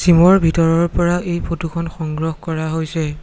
জিমৰ ভিতৰৰ পৰা এই ফটোখন সংগ্ৰহ কৰা হৈছে।